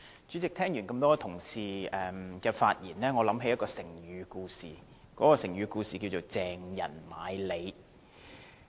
主席，聽了這麼多位同事的發言，我想起成語故事"鄭人買履"。